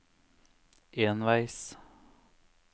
enveis